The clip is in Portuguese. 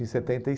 em setenta e